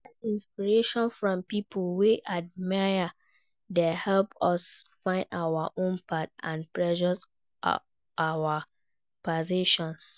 Career inspiration from people we admire dey help us find our own path and pursue our passions.